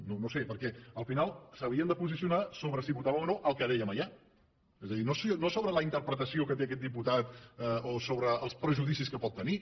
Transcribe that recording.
no ho sé perquè al final s’havien de posicionar sobre si votaven o no el que dèiem allà és a dir no sobre la interpretació que té aquest diputat o sobre els prejudicis que pot tenir